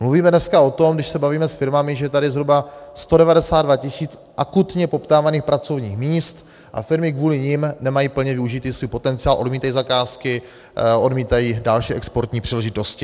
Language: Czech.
Mluvíme dneska o tom, když se bavíme se firmami, že je tady zhruba 192 tisíc akutně poptávaných pracovních míst a firmy kvůli nim nemají plně využity svůj potenciál, odmítají zakázky, odmítají další exportní příležitosti.